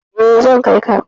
Eh, zan kai ka.